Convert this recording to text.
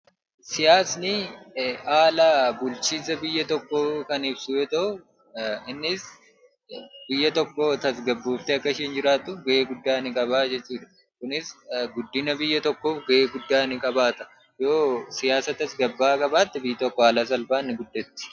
Siyaasni haala bulchiinsa biyya tokkoo kan ibsu yoo ta’u, innis biyyi tokko tasgabbooftee akka jiraattu gochuuf gahee ni qaba jechuudha. Kunis guddina biyya tokkoof gahee guddaa ni qabaata. Yoo siyaasa tasgabbaa'aa qabaatte biyyi tokko haala salphaan ni guddatti.